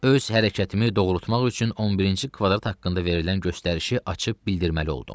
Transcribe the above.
Öz hərəkətimi doğrultmaq üçün 11-ci kvadrat haqqında verilən göstərişi açıb bildirməli oldum.